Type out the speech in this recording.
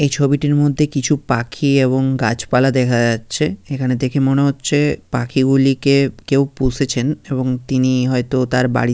এই ছবিটির মধ্যে কিছু পাখি এবং গাছপালা দেখা যাচ্ছে। এখানে দেখে মনে হচ্ছে পাখিগুলিকে কেউ পুষেছেন এবং তিনি হয়তো তার বাড়ি --